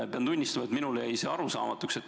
Pean tunnistama, et minule jäi see arusaamatuks.